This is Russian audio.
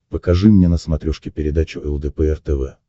покажи мне на смотрешке передачу лдпр тв